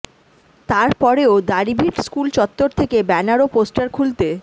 তার পরেও দাড়িভিট স্কুল চত্বর থেকে ব্যানার ও পোস্টার খুলতে